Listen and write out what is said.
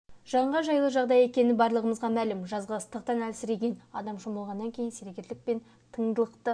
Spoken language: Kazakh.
жанға жайлы жағдай екені барлығымызға мәлім жазғы ыстықтан әлсіреген адам шомылғаннан кейін сергерлік пен тыңдылықты